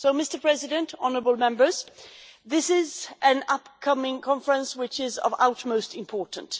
Mr President, Honourable Members, this is an up coming conference which is of utmost importance.